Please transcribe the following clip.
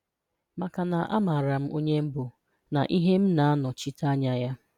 Maka na a maara m onye m bụ na ihe m na-anọchite Anya ya